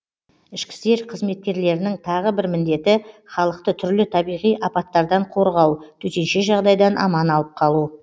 ішкі істер қызметкерлерінің тағы бір міндеті халықты түрлі табиғи апаттардан қорғау төтенше жағдайдан аман алып қалу